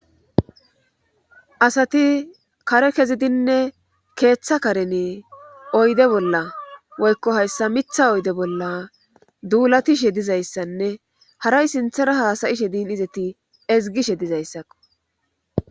Asati kare kezidinne keeththa karene oyde bolla woykko hayssa mitha oyde bolla duulatishe dizayssanne haray sinthera haasayishe diin izeti ezgishe dizayssakko